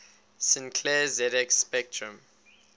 sinclair zx spectrum